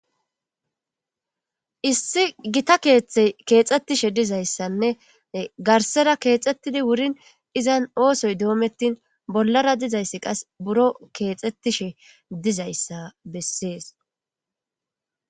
Issi gitta keeththe keexxettishe dizayssanne garssera keexxettidi wuurin izan oosoy doomettin bollara dizayssi qas buro keexxettishe dizayssa bessees